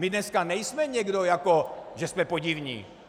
My dneska nejsme někdo, jako že jsme podivní.